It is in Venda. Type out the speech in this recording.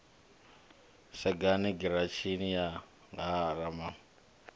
sagani giratshini ya ha ramasunzi